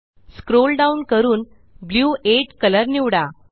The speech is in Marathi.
स्क्रोल डाऊन करून ब्लू 8 कलर निवडू